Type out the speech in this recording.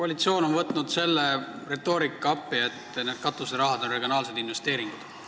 Koalitsioon on võtnud appi selle retoorika, et katuseraha on regionaalsed investeeringud.